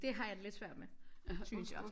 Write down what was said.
Det har jeg det lidt svært med synes jeg